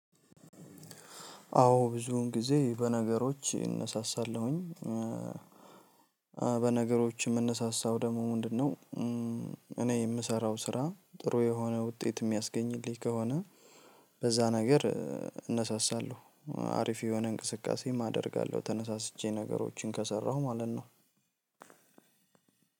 አዎ ብዙን ጊዜ በነገሮች እነሳሳለሁኝ በነገሮች የምነሳሳው ደግሞ ምንድን ነው? እኔ የምሰራው ስራ ጥሩ የሆነ ውጤት የሚያስገኝልኝ ከሆነ በዛ ነገር እነሳሳለሁ። አሪፍ የሆነ እንቅስቃሴም አደርጋለሁ ተነሳስቼ ነገሮችን ከሰራሁ ማለት ነው።